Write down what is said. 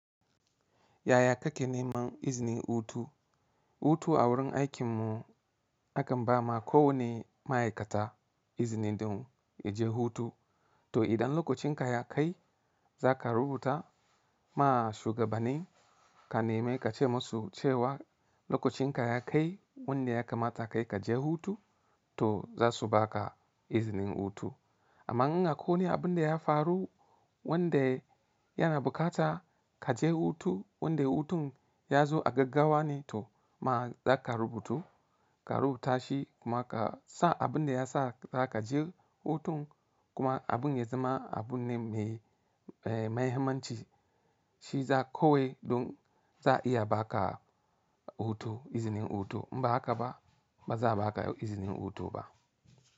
Yaya kake neman izinin hutu? Hutu a wurin aikin mu akan ba ma kowane ma'aikata izini don ya je hutu. To idan lokacinka ya kai za ka rubuta ma shugabanni ka nemi ka ce musu cewa lokacinka ya kai wanda ya kamata kai ka je hutu, to za su ba ka izinin hutu. Amma in akwai abin da ya faru wanda yana bukata ka je hutu wanda hutun ya zo a gaggawa ne, to ma za ka rubuto, ka rubuta shi kuma ka sa abin da ya sa za ka je hutun kuma abin ya zama abun ne mai mahimmanci shi za kawai don za a iya ba ka hutu izinin hutu. Inba hakqka ba, ba za a ba ka izinin hutu ba.